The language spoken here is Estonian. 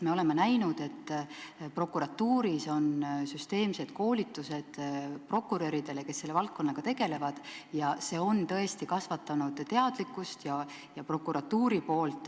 Me oleme näinud, et prokuratuuris on süsteemsed koolitused prokuröridele, kes selle valdkonnaga tegelevad, ja see on tõesti prokuratuuris teadlikkust kasvatanud.